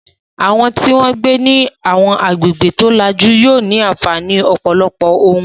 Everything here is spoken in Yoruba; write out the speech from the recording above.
Àwọn tí wọ́n ń gbé ní àwọn agbègbè tó lajú yóò ní àǹfààní ọ̀pọ̀lọpọ̀ ohun